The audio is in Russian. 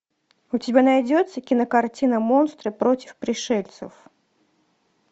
у тебя найдется кинокартина монстры против пришельцев